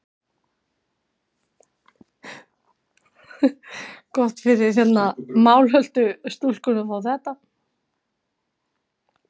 Jarðsagan hefst þá fyrst er jarðskorpan varð storkin.